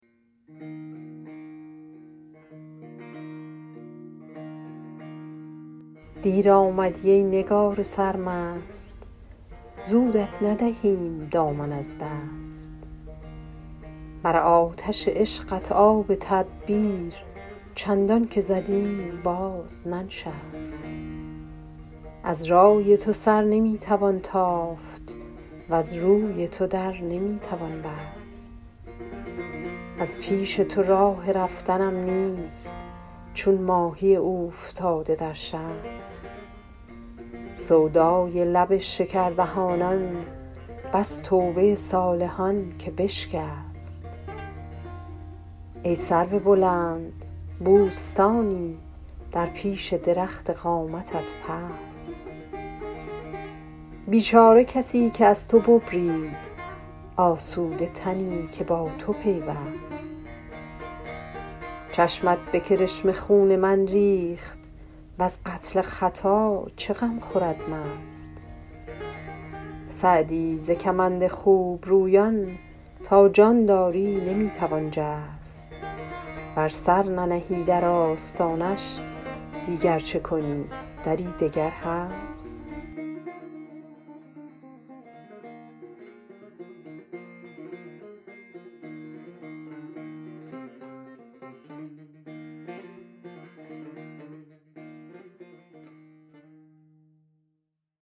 دیر آمدی ای نگار سرمست زودت ندهیم دامن از دست بر آتش عشقت آب تدبیر چندان که زدیم باز ننشست از رای تو سر نمی توان تافت وز روی تو در نمی توان بست از پیش تو راه رفتنم نیست چون ماهی اوفتاده در شست سودای لب شکردهانان بس توبه صالحان که بشکست ای سرو بلند بوستانی در پیش درخت قامتت پست بیچاره کسی که از تو ببرید آسوده تنی که با تو پیوست چشمت به کرشمه خون من ریخت وز قتل خطا چه غم خورد مست سعدی ز کمند خوبرویان تا جان داری نمی توان جست ور سر ننهی در آستانش دیگر چه کنی دری دگر هست